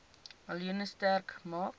miljoen sterk maak